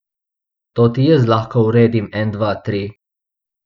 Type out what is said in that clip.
To ti jaz lahko uredim en dva tri.